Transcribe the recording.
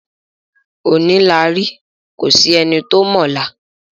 Òní la rí kò sí ẹni tó mọ ọ̀la.